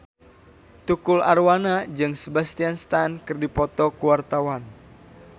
Tukul Arwana jeung Sebastian Stan keur dipoto ku wartawan